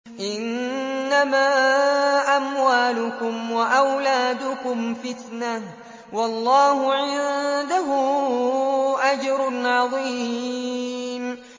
إِنَّمَا أَمْوَالُكُمْ وَأَوْلَادُكُمْ فِتْنَةٌ ۚ وَاللَّهُ عِندَهُ أَجْرٌ عَظِيمٌ